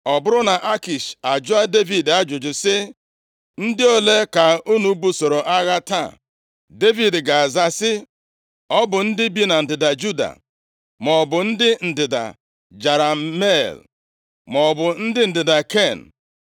Ọ bụrụ na Akish ajụọ Devid ajụjụ sị, “Ndị ole ka unu busoro agha taa?” Devid ga-aza sị, “Ọ bụ ndị bi na ndịda Juda”, maọbụ “ndị ndịda Jerahmel”, maọbụ “ndị ndịda Ken.” + 27:10 Ndị Jerahmel bụ ụmụ ụmụ Juda site na nwa nwa ya bụ Hezrọn, \+xt 1Ih 2:5,9,25\+xt* gụọ ihe banyere ndị Ken nʼihe e depụtara nʼakwụkwọ. \+xt Nkp 4:11\+xt*